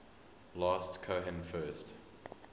last cohen first